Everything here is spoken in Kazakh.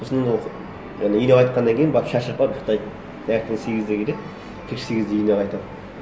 сосын ол жаңа үйіне қайтқаннан кейін барып шаршап барып ұйықтайды таңертең сегізде келеді кешкі сегізде үйіне қайтады